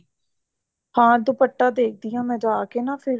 ਹਾਂ ਦੁਪੱਟਾ ਦੇਖਦੀ ਹਾਂ ਮੈਂ ਜਾ ਕੇ ਨਾ ਫ਼ੇਰ